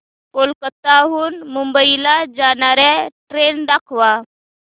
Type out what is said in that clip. कोलकाता हून मुंबई ला जाणार्या ट्रेन दाखवा